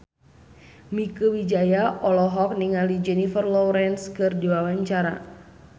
Mieke Wijaya olohok ningali Jennifer Lawrence keur diwawancara